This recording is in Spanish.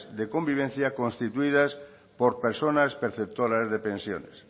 de convivencia constituidas por personas perceptoras de pensiones